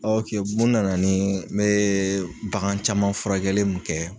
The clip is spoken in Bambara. mun nana ni n bɛ bagan caman furakɛli mun kɛ.